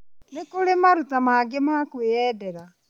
No kũrĩ maruta mangĩ ma kwiyendera